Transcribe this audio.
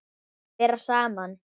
Vera saman.